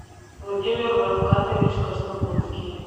владимир рафкатович краснокутский